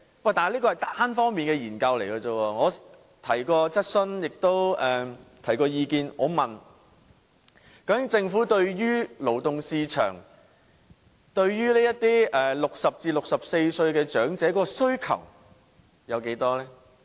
但是，這只是單方面的研究。我曾提出質詢及意見，我問政府究竟勞動市場對於這些60歲至64歲的長者的需求有多大？